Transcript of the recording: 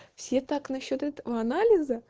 все так насчёт этого анализа